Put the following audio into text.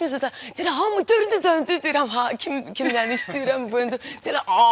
Deyirəm, hamı dördü döndü, deyirəm, kim nə istəyirəm, burda.